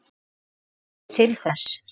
Langar þig til þess?